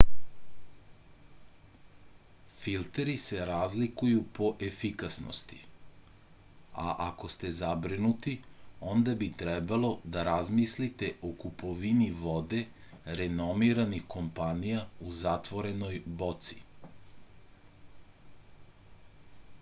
filteri se razlikuju po efikasnosti a ako ste zabrinuti onda bi trebalo da razmislite o kupovini vode renomiranih kompanija u zatvorenoj boci